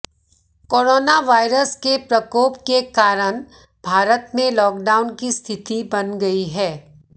corona virus के प्रकोप के कारण भारत में लॉक डाउन की स्थिति बन गई है